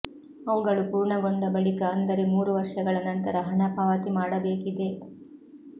ಅವುಗಳು ಪೂರ್ಣಗೊಂಡ ಬಳಿಕೆ ಅಂದರೆ ಮೂರು ವರ್ಷಗಳ ನಂತರ ಹಣ ಪಾವತಿ ಮಾಡಬೇಕಿದೆ